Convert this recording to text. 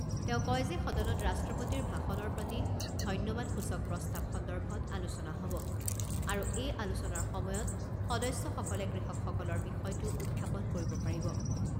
তেওঁ কয় যে সদনত ৰাষ্ট্ৰপতিৰ ভাষণৰ প্ৰতি ধন্যবাদসূচক প্ৰস্তাৱ সন্দৰ্ভত আলোচনা হ'ব আৰু এই আলোচনাৰ সময়ত সদস্যসকলে কৃষকসকলৰ বিষয়টো উত্থাপন কৰিব পাৰিব।